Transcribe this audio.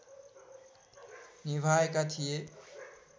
निभाएका थिए